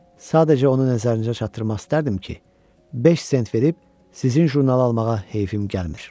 Sadəcə onu nəzərinizə çatdırmaq istərdim ki, beş sent verib sizin jurnalı almağa heyfim gəlmir.